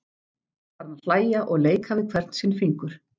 Farin að hlæja og leika við hvern sinn fingur.